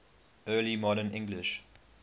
early modern english